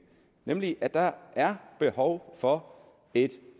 nemlig at der er behov for et